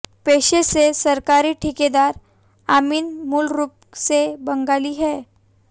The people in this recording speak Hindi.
पेशे से सरकारी ठेकेदार अमीन मूलरूप से बंगाली हैं